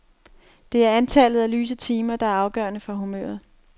Det er antallet af lyse timer, der er afgørende for humøret.